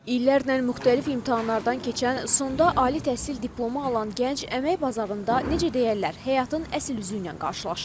İllərlə müxtəlif imtahanlardan keçən, sonda ali təhsil diplomu alan gənc əmək bazarında necə deyərlər, həyatın əsl üzü ilə qarşılaşır.